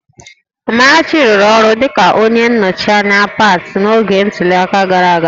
Amarachi rụrụ ọrụ dịka onye nnọchi anya pati n'oge ntuli aka gara aga